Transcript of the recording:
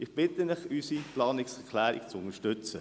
Ich bitte Sie, unsere Planungserklärung zu unterstützen.